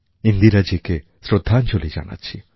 ইন্দিরাজীকে শ্রদ্ধাঞ্জলি জানাচ্ছি